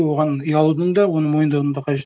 оған ұялудын да оны мойындаудың да